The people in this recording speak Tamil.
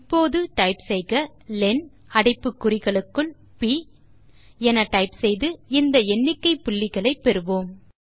இப்போது டைப் லென் அடைப்பு குறிகளுக்குள் ப் என டைப் செய்ய இந்த எண்ணிக்கை புள்ளிகளை பெறுவோம்